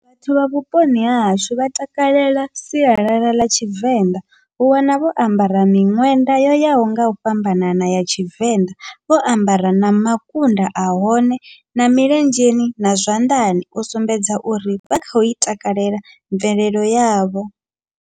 Vhathu vha vhuponi hahashu vha takalela sialala ḽa Tshivenḓa vhu wana vho ambara miṅwenda yo yaho ngau fhambanana ya Tshivenḓa, vho ambara na makunda ahone na milenzheni na zwanḓani u sumbedza uri vha khou i takalela mvelelo yavho.